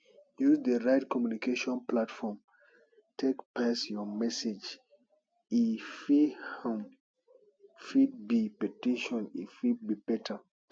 use di right communication platform take pass your message e um fit be petition e fit be letter